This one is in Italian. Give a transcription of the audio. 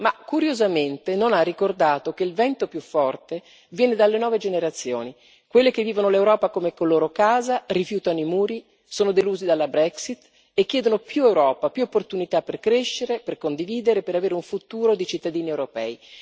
Ma, curiosamente, non ha ricordato che il vento più forte viene dalle nuove generazioni, quelle che vivono l'Europa come loro casa, rifiutano i muri, sono delusi dalla Brexit e chiedono più Europa, più opportunità per crescere, per condividere, per avere un futuro di cittadini europei.